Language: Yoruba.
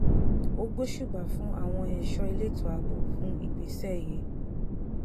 ó gbóṣùbà fún àwọn ẹ̀ṣọ́ elétò ààbò fún ìgbésẹ̀ yìí